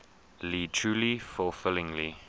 lead truly fulfilling